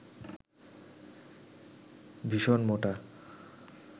ভীষণ মোটা